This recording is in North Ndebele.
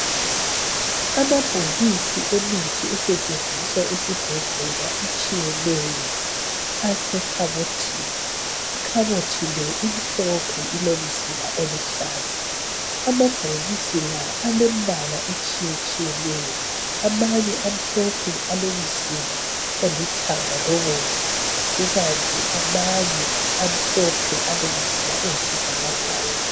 Amabhokisi emithi esetshenziswa esibhedlela etshiyeneyo asekhabothini ikhabothi le imhlophe ilomzila oluhlaza amabhokisi la alembala etshiye tshiyeneyo amanye amhlophe alemzila olithanga lobomvu kukanti amanye amhlophe alemzila eyisibhakabhaka.